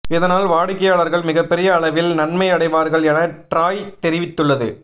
இதனால் வாடிக்கையாளர்கள் மிகப்பெரிய அளவில் நன்மை அடைவார்கள் என டிராய் தெரிவித்துள்ளது